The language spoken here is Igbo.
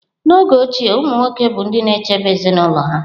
N'oge ochie, umụ nwoke bụ ndị na-echebe ezinụlọ ha.